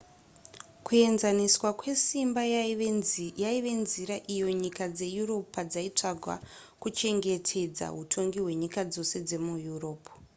kuenzaniswa kwesimba yaiva nzira iyo nyika dzeeurope padzaitsvaga kuchengetedza hutongi hwenyika dzose dzemueurope